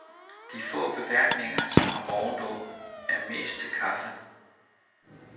De få beværtninger, som har morgenåbent, er mest til kaffe.